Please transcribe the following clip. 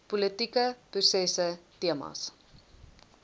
politieke prosesse temas